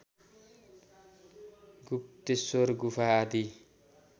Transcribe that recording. गुप्तेश्वर गुफा आदि